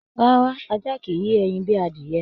Rárá, ajá kìí yé ẹyin bíi adiyẹ.